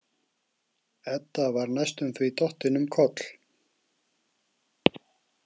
Edda var næstum því dottin um koll.